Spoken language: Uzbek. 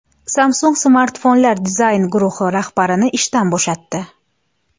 Samsung smartfonlar dizayn guruhi rahbarini ishdan bo‘shatdi.